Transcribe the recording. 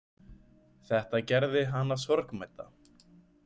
Þetta gerði hana sorgmædda.